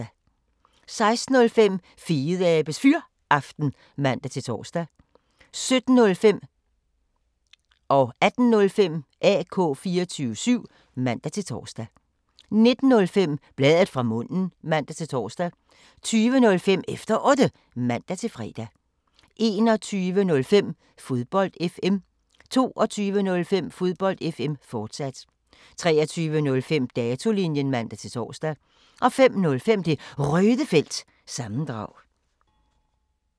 16:05: Fedeabes Fyraften (man-tor) 17:05: AK 24syv (man-tor) 18:05: AK 24syv, fortsat (man-tor) 19:05: Bladet fra munden (man-tor) 20:05: Efter Otte (man-fre) 21:05: Fodbold FM 22:05: Fodbold FM, fortsat 23:05: Datolinjen (man-tor) 05:05: Det Røde Felt – sammendrag